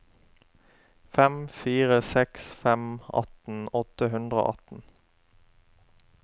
fem fire seks fem atten åtte hundre og atten